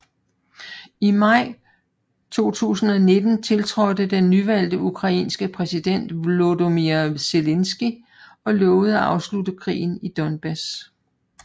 I maj 2019 tiltrådte den nyvalgte ukrainske præsident Volodymyr Zelenskyj og lovede at afslutte krigen i Donbas